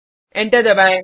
enter दबाएँ